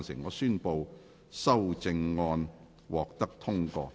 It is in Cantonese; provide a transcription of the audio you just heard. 我宣布修正案獲得通過。